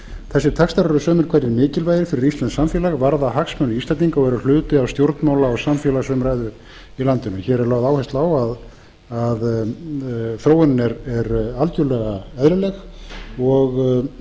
þessir textar eru sumir hverjir mikilvægir fyrir íslenskt samfélag varða hagsmuni íslendinga og eru hluti af stjórnmála og samfélagsumræðu í landinu hér er lögð áhersla á að þróunin er algjörlega